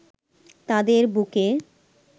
তাদের বুকে